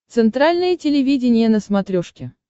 центральное телевидение на смотрешке